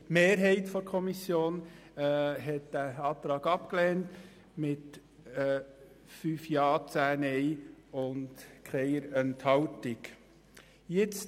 Die Mehrheit der Kommission hat diesen Antrag mit 5 zu 10 Stimmen bei 0 Enthaltungen abgelehnt.